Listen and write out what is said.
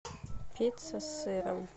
пицца с сыром